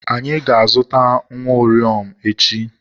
Anyị ga-azụta nwa uriom echi